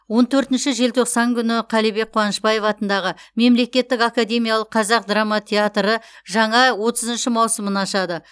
он төртінші желтоқсан күні қалібек қуанышбаев атындағы мемлекеттік академиялық қазақ драма театры жаңа отызыншы маусымын ашады